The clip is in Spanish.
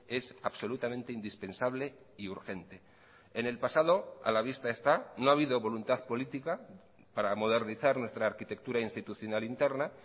es absolutamente indispensable y urgente en el pasado a la vista está no ha habido voluntad política para modernizar nuestra arquitectura institucional interna